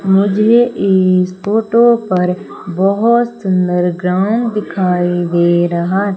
मुझे इस फोटो पर बहोत सुंदर ग्राउंड दिखाई दे रहा--